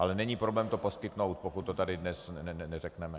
Ale není problém to poskytnout, pokud to tady dnes neřekneme.